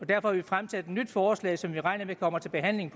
derfor fremsat et nyt forslag som vi regner med kommer til behandling